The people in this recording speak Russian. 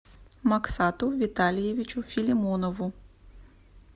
максату витальевичу филимонову